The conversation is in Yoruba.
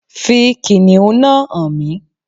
Fi kìnnìún náà hàn mí.